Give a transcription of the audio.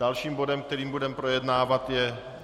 Dalším bodem, který budeme projednávat, je